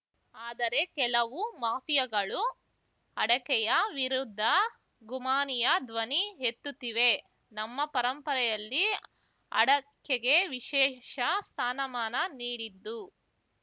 ಆದರೆ ಕೆಲವು ಮಾಫಿಯಾಗಳು ಅಡಕೆಯ ವಿರುದ್ಧ ಗುಮಾನಿಯ ಧ್ವನಿ ಎತ್ತುತ್ತಿವೆ ನಮ್ಮ ಪರಂಪರೆಯಲ್ಲಿ ಅಡಕೆಗೆ ವಿಶೇಷ ಸ್ಥಾನಮಾನ ನೀಡಿದ್ದು